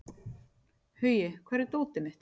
Hugi, hvar er dótið mitt?